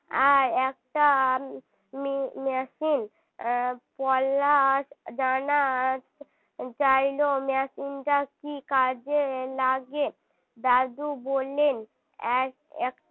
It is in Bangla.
আর একটা machine পলাশ জানতে চাইলো চাইলো machine টা কী কাজে লাগে দাদু বললেন এক এক